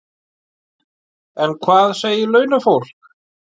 En hvað segir launafólk?